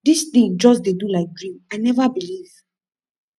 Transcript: this thing just dey do like dream i never believe